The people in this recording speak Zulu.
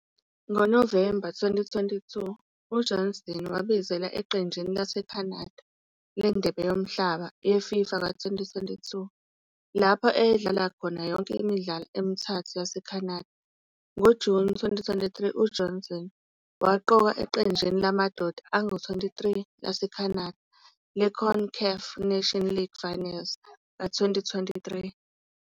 NgoNovemba 2022, uJohnston wabizelwa eqenjini laseCanada leNdebe Yomhlaba ye-FIFA ka-2022, lapho eyadlala khona yonke imidlalo emithathu yaseCanada. NgoJuni 2023 uJohnston waqokwa eqenjini lamadoda angu-23 laseCanada le-CONCACAF Nations League Finals ka-2023.